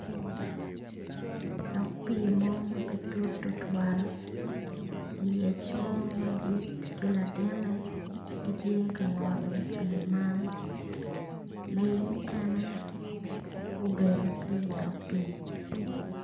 Dog pi mo mape tut tutwal lyec mo madit k latine gitye kangolo pi man lee mukene gubedo ki dog pi.